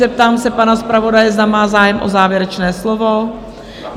Zeptám se pana zpravodaje, zda má zájem o závěrečné slovo?